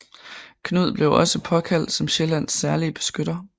Knud blev også påkaldt som Sjællands særlige beskytter